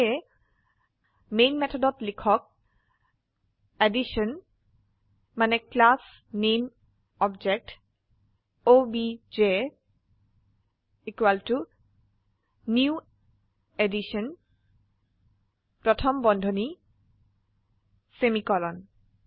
সেয়ে মেন মেথডত লিখক এডিশ্যন মানে class name object obj new addition parentheses প্ৰথম বন্ধনী সেমিকোলন